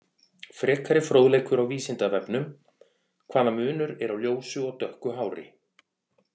Frekari fróðleikur á Vísindavefnum: Hvaða munur er á ljósu og dökku hári?